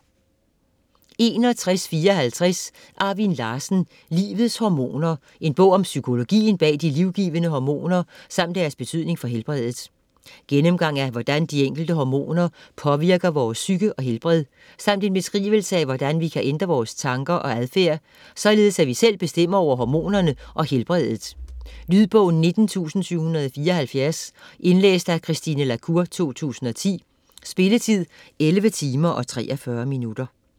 61.54 Larsen, Arvin: Livets hormoner: en bog om psykologien bag de livgivende hormoner, samt deres betydning for helbredet Gennemgang af hvordan de enkelte hormoner påvirker vores psyke og helbred, samt en beskrivelse af hvordan vi kan ændre vores tanker og adfærd således at vi selv bestemmer over hormonerne og helbredet. Lydbog 19774 Indlæst af Christine la Cour, 2010. Spilletid: 11 timer, 43 minutter.